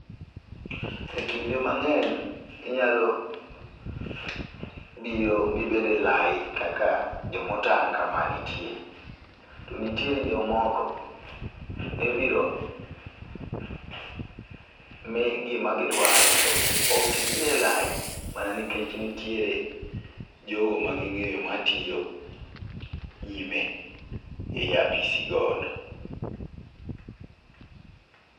E kinde mang'eny inyalo biro mibed e lai kaka jomotang' kama nitie. To nitiere jomoko mibiro mi gima gidwaro to ok gibire lai ,mana nikech nitire jogo ma ging'eyo matiyo nyime e apisi godo